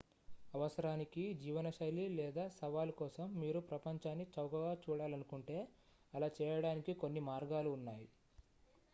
అవసరానికి జీవనశైలి లేదా సవాలు కోసం మీరు ప్రపంచాన్ని చౌకగా చూడాలనుకుంటే అలా చేయడానికి కొన్ని మార్గాలు ఉన్నాయి